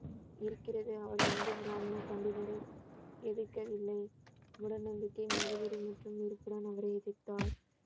இருக்கிறது அவர் இந்து பிராமண பண்டிதரை எதிர்க்கவில்லை மூடநம்பிக்கை மதவெறி மற்றும் இருப்புடன் அவரை எதிர்த்தார்